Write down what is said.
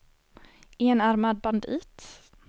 enarmad bandit